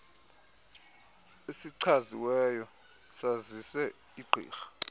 esichaziweyo sazise igqirha